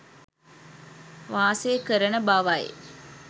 වාසය කරන බවයි.